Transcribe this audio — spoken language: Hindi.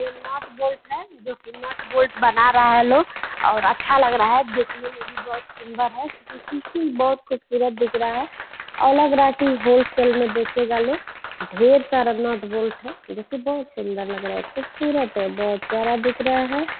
ये नट बोल्ट है जो कि नट बोल्ट बना रहा है लोग और अच्छा लग रहा है देखने में भी बहुत सुंदर है बहुत खूबसूरत दिख रहा है और लग रहा है कि होलसेल में बेचेगा लोग ढेर सारा नट बोल्ट है जो कि बहुत सुंदर लग रहा है खूबसूरत है बहुत सारा दिख रहा है।